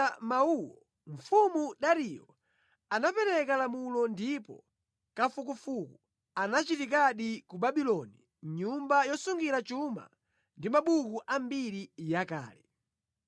Atalandira mawuwo mfumu Dariyo anapereka lamulo ndipo kafukufuku anachitikadi ku Babuloni mʼnyumba yosungira chuma ndi mabuku ambiri yakale.